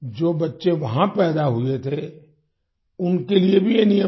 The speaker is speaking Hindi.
जो बच्चे वहाँ पैदा हुए थे उनके लिए भी ये नियम था